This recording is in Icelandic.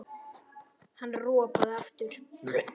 Hann ropaði aftur.